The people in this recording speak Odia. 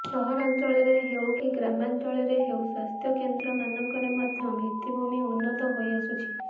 ସହରାଂଚଳରେ ହେଉକି ଗ୍ରାମାଂଚଳରେ ହେଉ ସ୍ୱାସ୍ଥ୍ୟ କେନ୍ଦ୍ର ମାନଙ୍କରେ ମଧ୍ୟ ଭିତିଭୂମି ଉନ୍ନତ ହୋଇଆସୁଛି